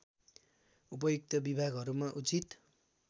उपयुक्त विभागहरूमा उचित